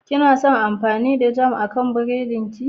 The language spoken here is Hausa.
Kena son amfani da jam akan burodin ku?